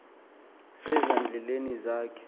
seza ndleni zakhe